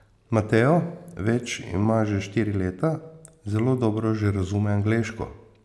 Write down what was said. Mateo več, ima že štiri leta, zelo dobro že razume angleško.